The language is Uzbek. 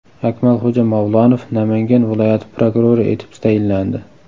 Akmalxo‘ja Mavlonov Namangan viloyati prokurori etib tayinlandi.